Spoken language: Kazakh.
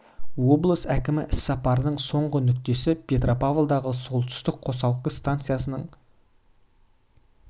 облыс әкімі іссапарының соңғы нүктесі петропавлдағы солтүстік қосалқы станциясының құрылысы болды қарағанды облыстық табиғатты қорғау прокуратурасы